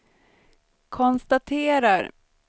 konstaterar